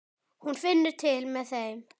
Hún finnur til með þeim.